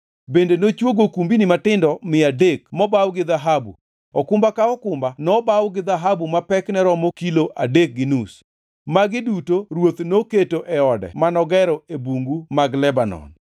Bende nochwogo okumbni matindo mia adek mobaw gi dhahabu, okumba ka okumba nobaw gi dhahabu ma pekne romo kilo adek gi nus. Magi duto ruoth noketo e ode manogero e Bungu mag Lebanon.